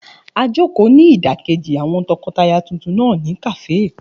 A jòkó ní ìdákéjì àwọn tọkọtaya tuntun náà ní kàáfè